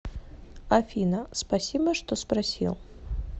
афина спасибо что спросил